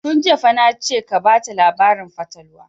Tun jiya fa na ce ka bata labarin fatalwa!